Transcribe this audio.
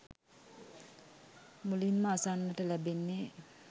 මුලින්ම අසන්නට ලැබෙන්නේ